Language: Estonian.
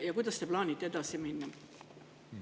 Ja kuidas te plaanite edasi minna?